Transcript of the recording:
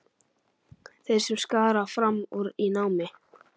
Þeir sem skara fram úr í námi.